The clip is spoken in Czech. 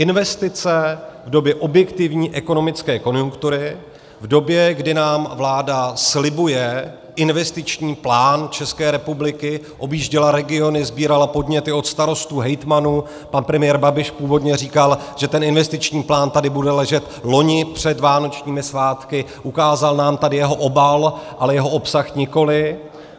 Investice v době objektivní ekonomické konjunktury, v době, kdy nám vláda slibuje investiční plán České republiky, objížděla regiony, sbírala podněty od starostů, hejtmanů, pan premiér Babiš původně říkal, že ten investiční plán tady bude ležet loni před vánočními svátky, ukázal nám tady jeho obal, ale jeho obsah nikoli.